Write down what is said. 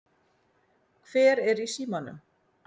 Hver er í símanum?